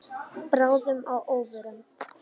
Báðum að óvörum.